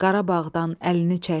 Qarabağdan əlini çək.